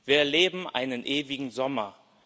Wir erleben einen ewigen Sommer.